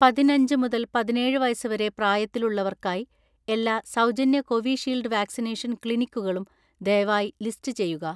പതിനഞ്ച് മുതൽ പതിനേഴ് വയസ്സ് വരെ പ്രായത്തിലുള്ളവർക്കായി എല്ലാ സൗജന്യ കോവിഷീൽഡ് വാക്സിനേഷൻ ക്ലിനിക്കുകളും ദയവായി ലിസ്റ്റ് ചെയ്യുക